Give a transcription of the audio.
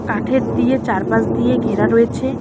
কাঠের দিয়ে চারপাশ দিয়ে ঘেরা রয়েছে।